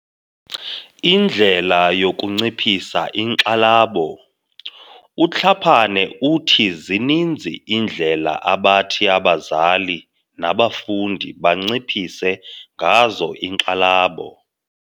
Indlela yokunciphisa inkxalabo. UTlhapane uthi zininzi iindlela abathi abazali nabafundi banciphise ngazo inkxalabo.